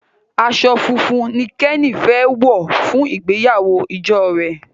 aṣọ fún fún ní Kenny fè wọ fún ìgbéyàwó ìjọ rẹ.